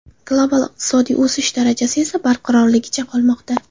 Global iqtisodiy o‘sish darajasi esa barqarorligicha qolmoqda.